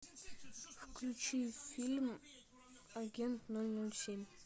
включи фильм агент ноль ноль семь